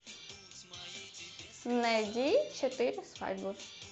найди четыре свадьбы